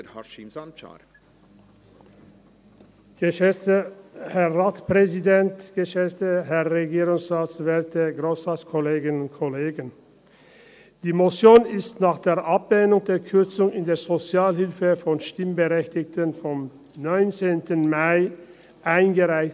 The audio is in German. Diese Motion wurde nach der Ablehnung der Kürzung in der Sozialhilfe durch die Stimmberechtigten vom 19. Mai eingereicht.